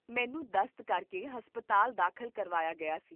ਮੈਨੂੰ ਦਸਤ ਕਰਕੇ ਹਸਪਤਾਲ ਦਾਖਲ ਕਰਵਾਇਆ ਗਿਆ ਸੀ